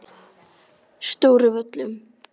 Stóru Völlum